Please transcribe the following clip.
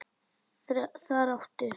Þar áttu